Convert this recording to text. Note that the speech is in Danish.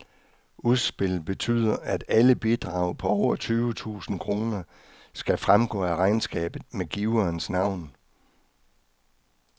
Udspillet betyder, at alle bidrag på over tyve tusind kroner skal fremgå af regnskabet med giverens navn.